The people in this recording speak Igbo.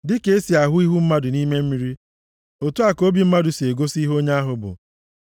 Dịka e si ahụ ihu mmadụ nʼime mmiri otu a ka obi mmadụ si egosi ihe onye ahụ bụ.